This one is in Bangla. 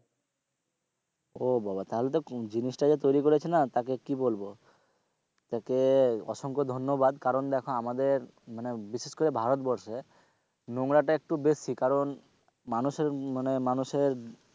ও বা বা তাহলে কি বলবো জিনিসটা যা তৈরি করেছে না একে কি বলবো তাকে অসংখ্য ধন্যবাদ কারণ দেখো আমাদের মানে বিশেষ করে ভারতবর্ষে নোংরাটা একটু বেশি কারণ মানুষের মানে মানুষের,